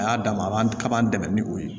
A y'a dama a b'an kaban dɛmɛ ni o ye